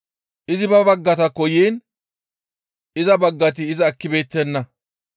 Izi ba baggataakko yiin iza baggati iza ekkibeettenna.